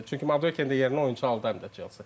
Çünki yerinə oyunçu aldı həm də Çelsi.